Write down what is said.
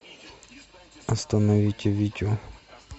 остановите витю